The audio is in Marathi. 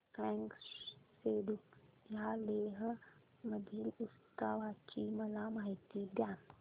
फ्यांग सेडुप या लेह मधील उत्सवाची मला माहिती द्या